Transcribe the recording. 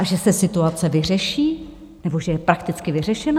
A že se situace vyřeší, nebo že je prakticky vyřešena?